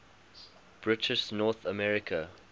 british north america